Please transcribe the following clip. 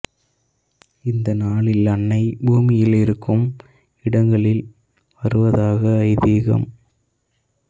இந்த நாளில் அன்னை பூமியில் இருக்கும் இடங்களில் வருவதாக ஐதீகம்